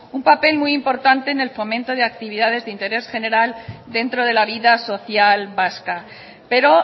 un papel muy importante en el fomento de actividades de interés general dentro de la vida social vasca pero